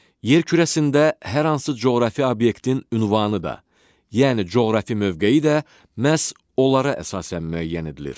Yer kürəsində hər hansı coğrafi obyektin ünvanı da, yəni coğrafi mövqeyi də məhz onlara əsasən müəyyən edilir.